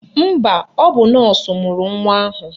Mba, ọ bụ nọọsụ mụrụ nwa ahụ.